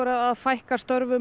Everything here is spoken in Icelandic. að fækka störfum